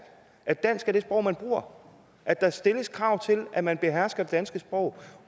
at dansk er det sprog man bruger at der stilles krav til at man behersker det danske sprog